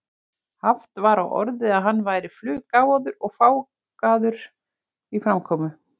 Haft var á orði að hann væri fluggáfaður og fágaður í framkomu.